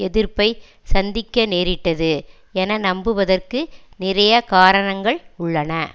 எதிர்ப்பை சந்திக்க நேரிட்டது என நம்புவதற்கு நிறைய காரணங்கள் உள்ளன